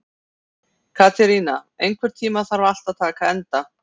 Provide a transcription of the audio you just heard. Katerína, einhvern tímann þarf allt að taka enda.